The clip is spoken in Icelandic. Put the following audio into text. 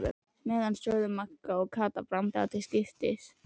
meðan sögðu Magga og Kata brandara til skiptis.